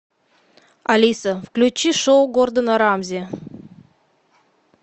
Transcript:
алиса включи шоу гордона рамзи